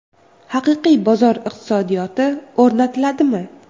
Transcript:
Haqiqiy bozor iqtisodiyoti o‘rnatiladimi?